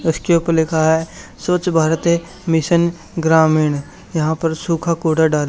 उसके ऊपर लिखा है स्वच्छ भारत मिशन ग्रामीण। यहां पर सुखा कुडा डा--